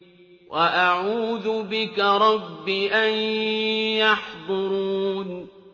وَأَعُوذُ بِكَ رَبِّ أَن يَحْضُرُونِ